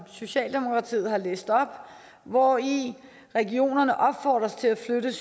socialdemokratiet har læst op hvori regionerne opfordres til at flytte